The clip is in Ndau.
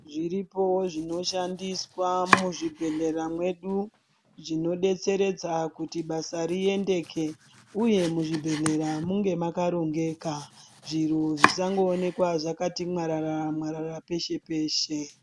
Zviripo zvinoshandiswa muzvibhedlera mwedu zvinodetseredza kuti basa riendeke uye muzvibhedlera munge makarongeka zviro zvisangooneka zvakati mwarara mwarara peshe peshe.